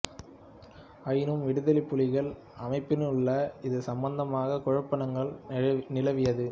ஆயினும் விடுதலைப் புலிகள் அமைப்பினுள்ளே இது சம்பந்தமாக குழப்பங்கள் நிலவியது